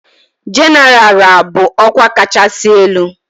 Jenéral ral bụ ọkwa kachasị elu.